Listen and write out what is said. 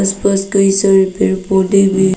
पास कई सारे पेड़ पौधे भी--